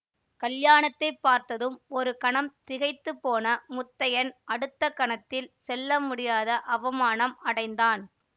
கல்யாணத்தைப் பார்த்ததும் ஒரு கணம் திகைத்து போன முத்தையன் அடுத்த கணத்தில் சொல்ல முடியாத அவமானம் அடைந்தான்